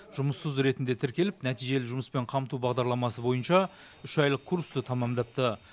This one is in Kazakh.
жұмыссыз ретінде тіркеліп нәтижелі жұмыспен қамту бағдарламасы бойынша үш айлық курсты тәмамдапты